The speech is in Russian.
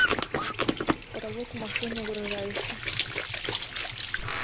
потолок машины угрожающе